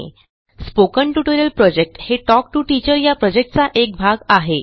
spoken tutorial project हे talk to teacher या प्रॉजेक्टचा एक भाग आहे